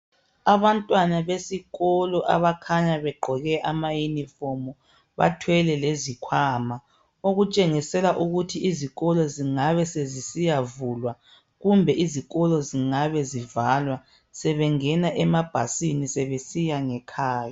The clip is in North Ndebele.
Abantwana besikolo abakhanya begqoke amayunifomu bathwele lezikhwama okutshengisela ukuthi izikolo zingabe zisiyavulwa kumbe izikolo zingabe zivalwa sebengena emabhasini sebesiya ngekhaya.